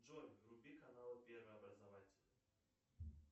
джой вруби канал первый образовательный